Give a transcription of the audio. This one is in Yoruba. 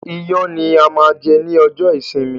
Ìyàn ni a máa jẹ ní ọjọ́ ìsinmi